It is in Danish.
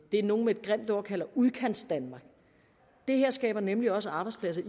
det nogle med et grimt ord kalder udkantsdanmark det her skaber nemlig også arbejdspladser